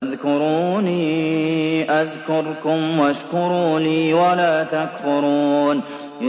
فَاذْكُرُونِي أَذْكُرْكُمْ وَاشْكُرُوا لِي وَلَا تَكْفُرُونِ